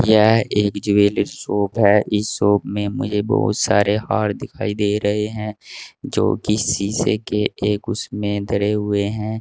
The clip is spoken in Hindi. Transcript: यह एक ज्वेलरी शॉप है इस शॉप में मुझे बहुत सारे हार दिखाई दे रहे हैं जोकि शीशे के एक उसमें धरे हुए हैं।